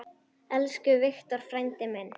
Elsku Victor frændi minn.